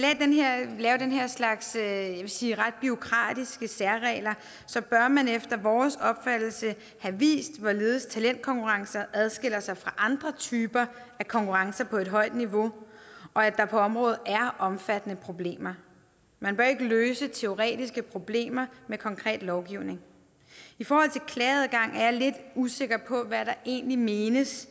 lave sige ret bureaukratiske særregler bør man efter vores opfattelse have vist hvorledes talentkonkurrencer adskiller sig fra andre typer af konkurrencer på et højt niveau og at der på området er omfattende problemer man bør ikke løse teoretiske problemer med konkret lovgivning i forhold til klageadgang er jeg lidt usikker på hvad der egentlig menes